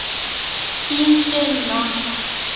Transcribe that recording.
Þín Sunna.